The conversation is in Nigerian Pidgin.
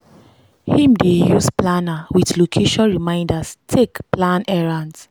him dey use planner with location reminders take plan errends.